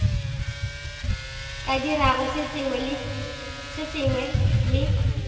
ka dirago se sengwe le